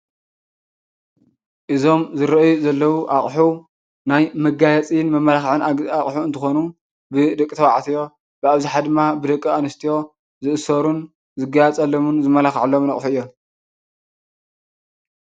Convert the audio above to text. እዞም ዝረአዩ ዘለው እቑሑ ናይ መጋየፅን መማላኽዕን አቑሑ እንትኾኑ ብደቂ ተባዕትዮ ብአብዘሓ ድማ ብደቂ አንስትዮ ዝእሰሩን ዝጋየፀሎምን ዝማላክዐሎምን አቑሑ እዮም።